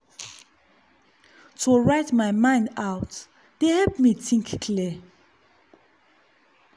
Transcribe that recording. to write my mind out dey help me think clear.